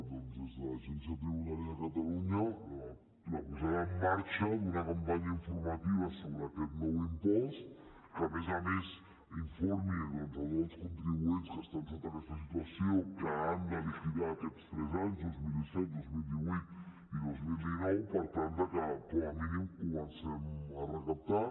doncs des de l’agència tributària de catalunya la posada en marxa d’una campanya informativa sobre aquest nou impost que a més a més informi tots els contribuents que estan en aquesta situació que han de liquidar aquests tres anys dos mil disset dos mil divuit i dos mil dinou per tal que com a mínim comencem a recaptar